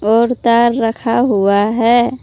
और तार रखा हुआ है।